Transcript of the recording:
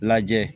Lajɛ